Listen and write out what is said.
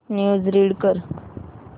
news read कर